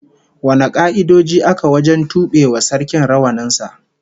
Wane ka'idoji aka wajen tube wa Sarkin rawanin sa?